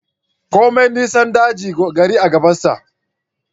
Komai nisan daji da gari gabansa